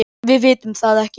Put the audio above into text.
Við vitum það ekki.